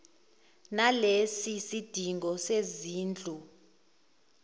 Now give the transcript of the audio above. nalesi sidingo sezindlu